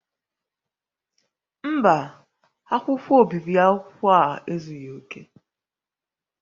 Mba, akwụkwọ obibi akwụkwọ a ezughi oke